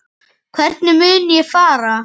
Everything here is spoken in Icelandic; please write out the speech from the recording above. Hvernig mun ég fara?